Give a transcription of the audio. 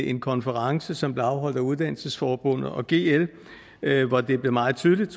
en konference som blev afholdt af uddannelsesforbundet og gl hvor det blev meget tydeligt